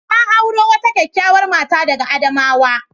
Na auro wata kyakkyawar mata daga Adamawa.